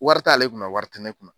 Wari t'ale kunna, wari tɛ ne kunna